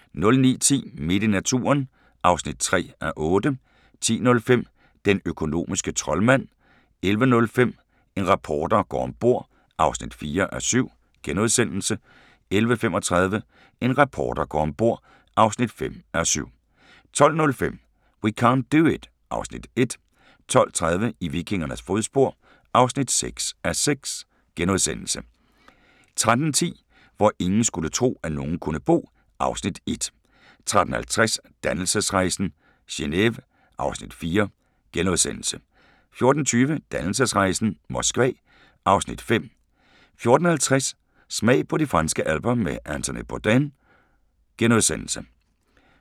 09:10: Midt i naturen (3:8) 10:05: Den økonomiske troldmand 11:05: En reporter går om bord (4:7)* 11:35: En reporter går om bord (5:7) 12:05: We can't do it (Afs. 1) 12:30: I vikingernes fodspor (6:6)* 13:10: Hvor ingen skulle tro, at nogen kunne bo (Afs. 1) 13:50: Dannelsesrejsen - Geneve (Afs. 4)* 14:20: Dannelsesrejsen - Moskva (Afs. 5) 14:50: Smag på de franske alper med Anthony Bourdain *